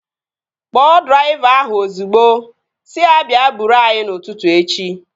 Kpọọ draiva ahụ ozigbo! Sị ya bịa buuru anyị n'ụtụtụ echi